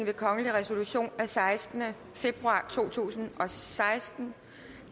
ved kongelig resolution af sekstende februar to tusind og seksten